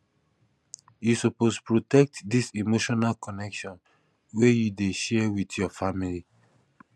you suppose protect dis emotional connection wey you dey share wit your family